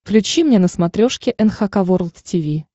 включи мне на смотрешке эн эйч кей волд ти ви